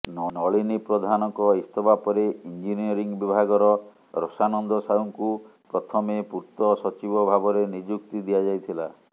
ନଳିନୀ ପ୍ରଧାନଙ୍କ ଇସ୍ତଫା ପରେ ଇଞ୍ଜିନିୟରିଂ ବିଭାଗର ରସାନନ୍ଦ ସାହୁଙ୍କୁ ପ୍ରଥମେ ପୂର୍ତ୍ତ ସଚିବ ଭାବରେ ନିଯୁକ୍ତି ଦିଆଯାଇଥିଲା